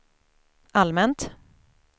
allmänt